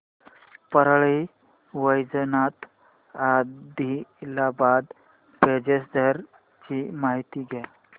Parli Vaijnath Adilabad passenger ची माहिती द्या